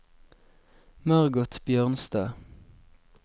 Margot Bjørnstad